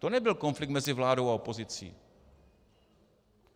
To nebyl konflikt mezi vládou a opozicí.